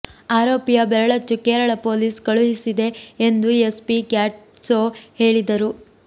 ಆರೋಪಿಯ ಬೆರಳಚ್ಚು ಕೇರಳ ಪೊಲೀಸ್ ಕಳುಹಿಸಿದೆ ಎಂದು ಎಸ್ಪಿ ಗ್ಯಾಟ್ಸೊ ಹೇಳಿದರು